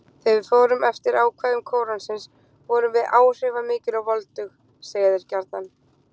Þegar við fórum eftir ákvæðum Kóransins, vorum við áhrifamikil og voldug: segja þeir gjarnan.